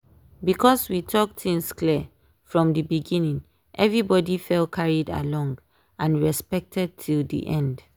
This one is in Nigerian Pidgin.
because we talk things clear from dey beginning everybody fell carried along and respected till dey end.